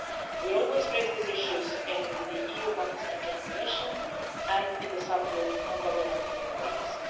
We always raise these issues in the EU-Pakistan Joint Commission and in the subgroup on governance and human rights.